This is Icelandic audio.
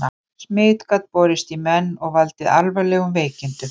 Smit gat borist í menn og valdið alvarlegum veikindum.